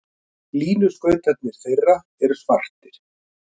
Línuskautarnir þeirra eru svartir.